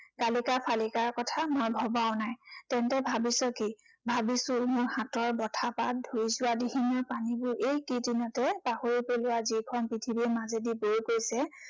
কালিকা চালিকাৰ কথা মই ভবাও নাই। তেন্তে ভাবিছ কি? ভাবিছো মোৰ হাতৰ বঁঠাপাত ধুই যোৱা দিহিঙৰ পানীবোৰ এই কেইদিনতে পাহৰি পেলাৱা যিখন পৃথিৱীৰ মাজেদি বৈ গৈছে